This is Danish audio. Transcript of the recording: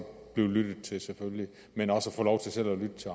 blive lyttet til men også at få lov til selv at lytte til